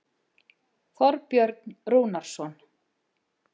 Þorbjörn Rúnarsson.